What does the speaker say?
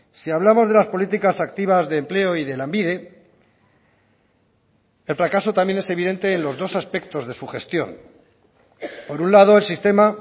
si hablamos de las políticas activas de empleo y de lanbide el fracaso también es evidente en los dos aspectos de su gestión por un lado el sistema